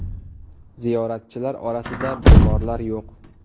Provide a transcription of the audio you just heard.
Ziyoratchilar orasida bemorlar yo‘q.